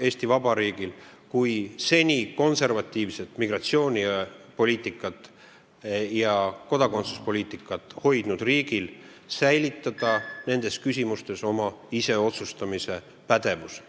Eesti Vabariigil kui seni konservatiivset migratsiooni- ja kodakondsuspoliitikat hoidnud riigil väga vajalik säilitada iseotsustamise pädevus.